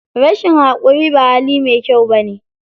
Rashin haƙuri ba hali mai kyau bane.